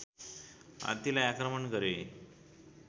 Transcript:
हात्तीलाई आक्रमण गरे